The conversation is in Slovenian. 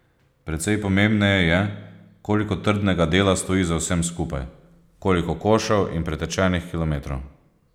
Precej pomembneje je, koliko trdega dela stoji za vsem skupaj, koliko košev in pretečenih kilometrov.